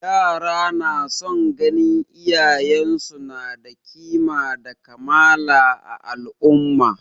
Yara na son ganin iyayen su na da kima da kamala a al'umma